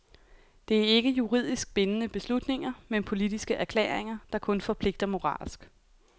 Det er ikke juridisk bindende beslutninger, men politiske erklæringer, der kun forpligter moralsk.